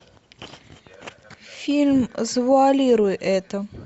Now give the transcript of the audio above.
фильм завуалируй это